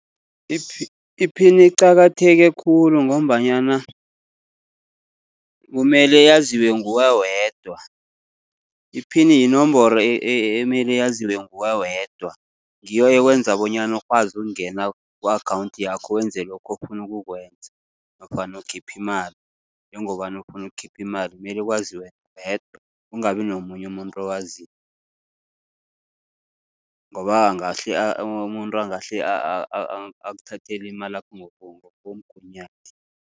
Iphini iqakatheke khulu, ngombanyana kumele yaziwe nguwe wedwa. Iphini yinomboro emele yaziwe nguwe wedwa, ngiyo ekwenza bonyana ukwazi ukungena ku-akhawunthi yakho wenze lokho ofuna ukukwenza, nofana ukhipha imali. Njengobana ufuna ukukhipha imali mele kwazi wena wedwa, kungabi nomunye umuntu owaziko. Ngoba angahle umuntu angahle akuthathele imalakho ngokomgunyathi.